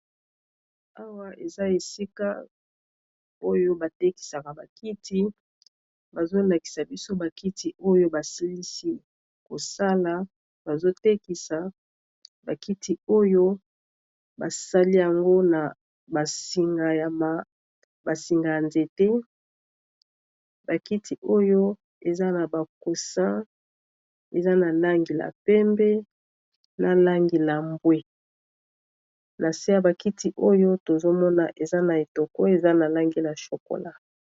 Awa eza esika oyo batekisaka ba kiti bazo lakisa biso ba kiti oyo basilisi kosala bazo tekisa ba kiti oyo basali yango na ba singa ya ya nzete bakiti oyo eza na ba coussin eza na langi la pembe na langi la mbwe na se ya ba kiti oyo tozomona eza na etoko eza na langi la chokola.